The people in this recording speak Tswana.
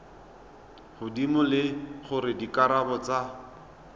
godimo le gore dikarabo tsa